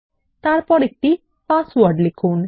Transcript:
তারপর একটি পাসওয়ার্ড লিখুন